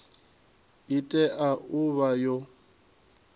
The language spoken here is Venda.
i tea u vha yo